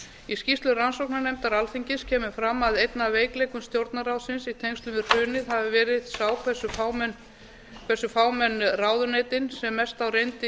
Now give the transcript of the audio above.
í skýrslu rannsóknarnefndar alþingis kemur fram að einn af veikleikum stjórnarráðsins í tengslum við hrunið hafi verið sá hversu fámenn ráðuneytin sem mest á reyndi í